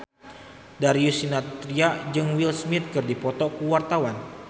Darius Sinathrya jeung Will Smith keur dipoto ku wartawan